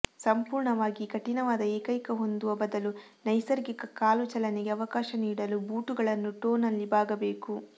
ಸಂಪೂರ್ಣವಾಗಿ ಕಠಿಣವಾದ ಏಕೈಕ ಹೊಂದುವ ಬದಲು ನೈಸರ್ಗಿಕ ಕಾಲು ಚಲನೆಗೆ ಅವಕಾಶ ನೀಡಲು ಬೂಟುಗಳನ್ನು ಟೋ ನಲ್ಲಿ ಬಾಗಬೇಕು